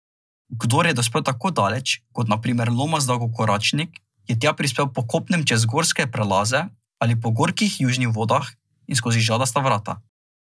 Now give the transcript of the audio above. Kdor je dospel tako daleč, kot na primer Lomas Dolgokoračnik, je tja prispel po kopnem čez gorske prelaze ali po gorkih južnih vodah in skozi Žadasta vrata.